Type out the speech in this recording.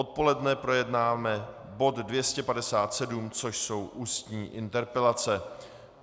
Odpoledne projednáme bod 257, což jsou ústní interpelace.